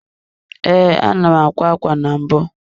Ee, ana m akwa ákwá na mbụ.